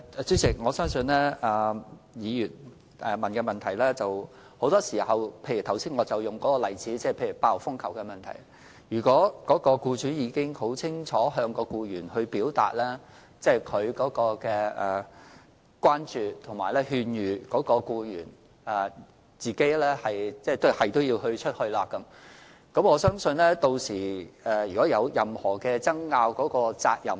主席，我相信議員的補充質詢是：就剛才列舉的8號風球懸掛時的情況為例，如果僱主已經很清楚向僱員表達他的關注，並予以勸諭，但僱員仍堅持外出，之後若有任何爭拗，責任該應由誰人承擔。